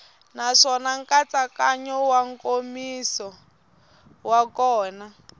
naswona nkatsakanyo nkomiso wa kona